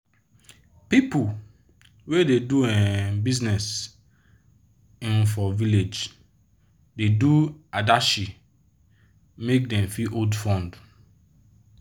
pipu wey da do um business um for village da do adashi make dem fit hold funds